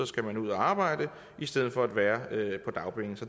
skal man ud at arbejde i stedet for at være på dagpenge så